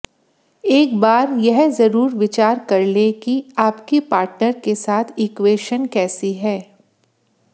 एक बार यह जरूर विचार कर लें कि आपकी पार्टनर के साथ इक्वेशन कैसी है